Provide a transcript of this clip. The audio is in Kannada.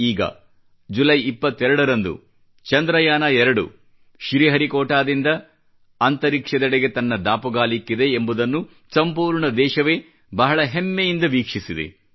ಈಗ ಜುಲೈ 22 ರಂದು ಚಂದ್ರಯಾನ 2 ಶ್ರೀಹರಿಕೋಟಾದಿಂದ ಅಂತರಿಕ್ಷದೆಡೆಗೆ ತನ್ನ ದಾಪುಗಾಲಿಕ್ಕಿದೆ ಎಂಬುದನ್ನು ಸಂಪೂರ್ಣ ದೇಶವೇ ಬಹಳ ಹೆಮ್ಮೆಯಿಂದ ವೀಕ್ಷಿಸಿದೆ